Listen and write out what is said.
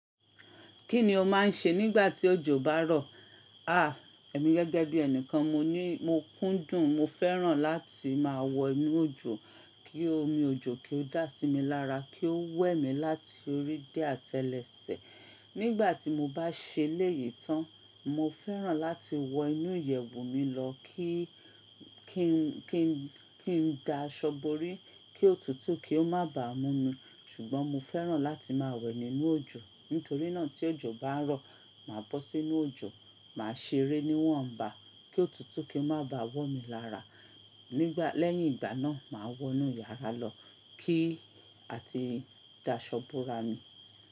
Kí ni o máa ń ṣe nígbà tí òjò bá rọ̀? Àh! Èmi gẹ́gẹ́ bí ẹni kan mo ní mo kúndùn, mo fẹ́ràn láti máa wọ inú òjò, kí omi òjò kí ó dà sí mi lára, kí ó wẹ̀ mí láti orí dé atelese. Nígbà tí mo bá ṣe léyìí tán, mo fẹ́ràn láti wọ inú ìyẹ̀wù mi lọ kí, kí n, kí n, kí n da aṣọ borí, kí ó tutù kí ó má ba mú mí. Ṣùgbọ́n mo fẹ́ràn láti máa wẹ̀ nínú òjò. Nítorí náà tí òjò bá rọ̀, màá bọ́ sí inú òjò, màá ṣeré níwọ̀nba kí ó tutù kí ó má bá wọ̀ mí lára. Nígbà, lẹ́yìn ìgbà náà màá wọ inú yàrá lọ kí a ti da aṣọ bora mi.